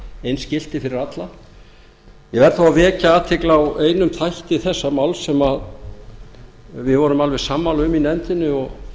eins gilti fyrir alla ég verð þó að vekja athygli á einum þætti þessa máls sem við vorum alveg sammála um í nefndinni og